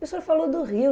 O senhor falou do rio.